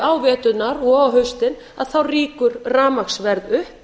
á veturna og á haustin rýkur rafmagnsverð upp